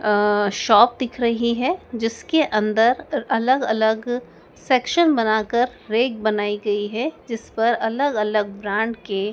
Shop दिख रही है। जिसके अन्दर अलग-अलग सेक्सन बनाकर रैक बनायी गई है जिस पर अलग-अलग ब्रांड के--